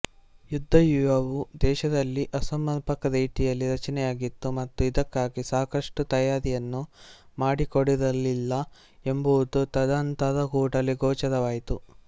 ಯುದ್ದವ್ಯೂಹವು ದೇಶದಲ್ಲಿ ಅಸಮರ್ಪಕ ರೀತಿಯಲ್ಲಿ ರಚನೆಯಾಗಿತ್ತು ಮತ್ತು ಇದಕ್ಕಾಗಿ ಸಾಕಷ್ಟು ತಯಾರಿಯನ್ನು ಮಾಡಿಕೊಡಿರಲಿಲ್ಲ ಎಂಬುದು ತದನಂತರ ಕೂಡಲೇ ಗೋಚರವಾಯಿತು